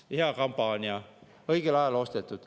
Hea kampaania, õigel ajal ostetud.